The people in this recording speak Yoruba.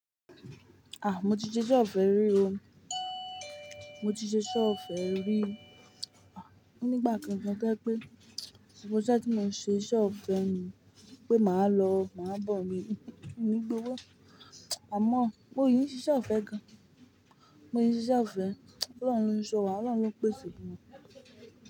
Ah! Mo ti ṣe ise ọ̀fẹ́ rí o. Mo ti ṣe Ṣọ́ọ̀ṣì ọ̀fẹ́ rí. Ah! Nígbà kan gan to je wipé, gbogbo iṣe tí mo n ṣe ise ọ̀fẹ́ ni pé màá lọ, màá bọ̀ ni, mii gbowó. Àmọ́ mo sì n ṣíse ọ̀fẹ́ gan, mó sì n ṣíse ọ̀fẹ́, Ọlọ́run ni óun sọ wá, Ọlọ́run ni óun pèsè fún mi.